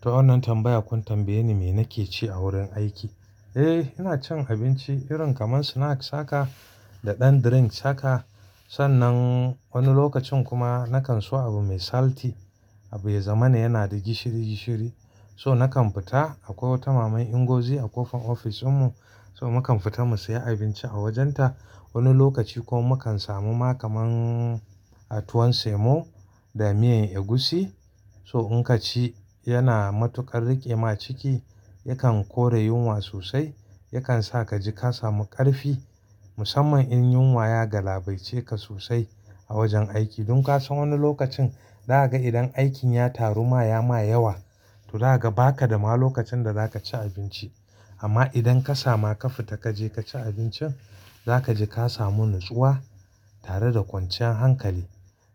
Toh wannan tambaya, kun tambaye ni me nake ci a wurin aiki. Eh, ina cin abinci irin kamar snacks haka da ɗan drink haka. Sannan wani lokacin kuma na kan so abu mai salty, abu ya zama na yana da gishiri gishiri. So na kan fita akwai wata mama Ngozi a kofar ofis din mu. So mu kan fita mu siya abinci a wajen ta. Wani lokaci ko mu kan samu ma kamar a tuwon semo da miyan egusi. So in ka ci, yana matuƙar riƙe ma ciki, yakan kore yunwa sosai, yakan sa ka ji ka samu ƙarfi. Musamman in yunwa ya galabaitce ka sosai a wajen aiki. Don ka san wani lokacin, za gan idan aikin ya taru ma ya ma yawa, toh za gan ba ka da ma lokacin da za ka ci abinci. Amma idan ka samu har ka fita ka je ka ci abincin, za ka ji ka samu natsuwa tare da kwancian hankali.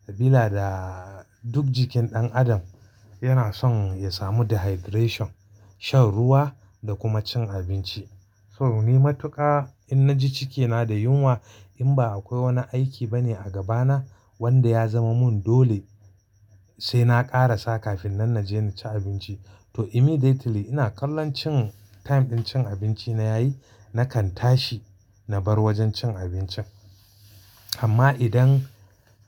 Sabila da duk jikin ɗan adam yana son ya samu dehydration, shan ruwa da kuma cin abinci. So ni matuƙa in na ji cikina da yunwa, in ba akwai wani aiki ba ne a gaba na wanda ya zama mun dole sai na ƙarasa kafin nan na je na ci abinci. Toh immediately ina kallon cin time din cin abinci na yayi, na kan tashi na bar wajen cin abincin. Amma idan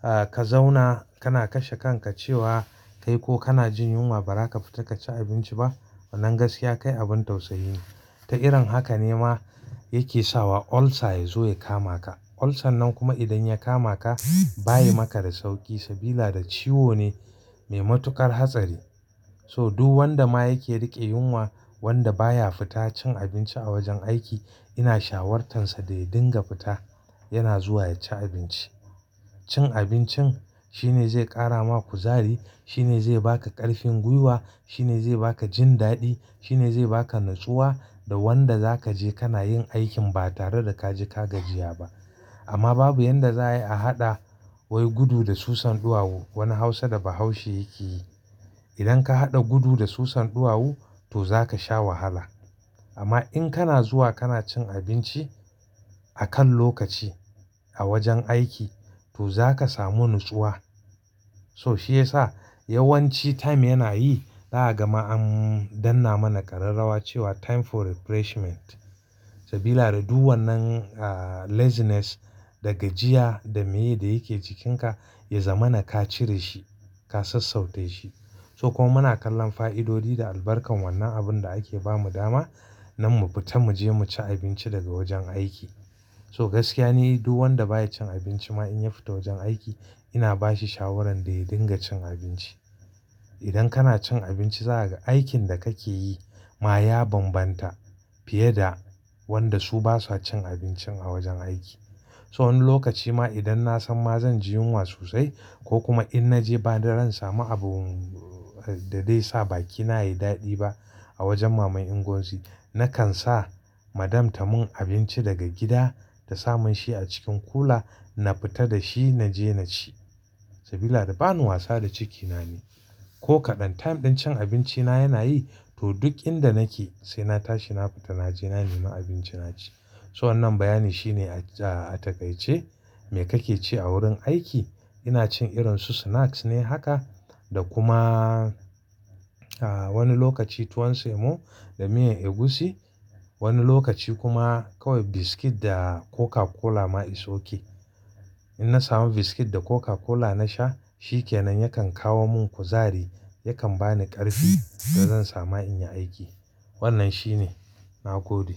ah ka zauna ka na kashe kanka cewa kai ko kana jin yunwa ba za ka fita ka ci abinci ba. Nan gaskiya kai abin tausayi ne. Ta irin haka ne ma yake sawa ulcer ya zo ya kama ka. Ulcer nan kuma idan ya kama ka, bayi maka da sauƙi sabila da ciwo ne mai matuƙar hatsari. So duk wanda ma yake riƙe yunwa wanda baya fita cin abinci a wajen aiki, ina shawartansa da ya dinga fita yana zuwa ya ci abinci. Cin abincin shine zai ƙara ma kuzari, shine zai ba ka ƙarfin gwiwa, shine zai ba ka jin daɗi, shine zai ba ka natsuwa da wanda za ka je kana yin aikin ba tare da ka ji ka gajiya ba. Amma babu yanda za a yi a haɗa wai gudu da susan ɗuwawu. Wani Hausa da Bahaushe yake yi. Idan ka haɗa gudu da susan ɗuwawu to za ka sha wahala. Amma in kana zuwa kana cin abinci akan lokaci a wajen aiki to za ka samu natsuwa. So shi yasa yawanci time yana yi, za gan ma an danna mana ƙararrawa cewa "time for refreshment" sabila da duk wannan ah laziness da gajiya da mai da yake cikinka, ya zama na ka cire shi, ka sassautar shi. So kuma muna kallon fa'idodi da albarkan wannan abin da ake bamu dama nan mu fita mu je mu ci abinci daga wajen aiki. So gaskiya ne duk wanda baya cin abinci ma in ya fita wajen aiki, ina bashi shawaran da ya dinga cin abinci. Idan kana cin abinci, za ga aikin da kake yi ma ya banbanta fiye da wanda su basa cin abincin a wajen aiki. So wani lokaci ma idan na san ma zan ji yunwa sosai ko kuma in naje ba da zan samu abun da dai sa bakina yayi daɗi ba a wajen mama Ngozi, na kan sa madam ta mun abinci daga gida ta sa mun shi a cikin kula. Na fita da shi na je na ci, sabila da bani wasa da cikina ne. Ko kaɗan time din cin abinci na yana yi, to duk inda nake sai na tashi na fita naje na nima abinci na ci. So wannan bayani shine ah takaice, me kake ci a wurin aiki? Ina cin irin su snacks ne haka da kuma ah wani lokaci tuwon semo da miyan egusi. Wani lokaci kuma kawai biscuit da coca-cola ma is okey. In na samu biscuit da coca-cola na sha, shi ke nan yakan kawo mun kuzari, yakan bani ƙarfi da zan samu in yi aiki. Wannan shine nagode.